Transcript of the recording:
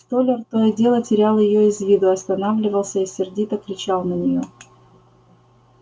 столяр то и дело терял её из виду останавливался и сердито кричал на неё